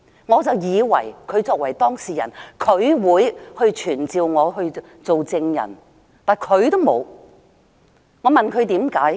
我以為她作為當事人，會傳召我作證，而她卻沒有傳召我。